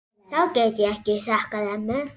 Það get ég þakkað ömmu.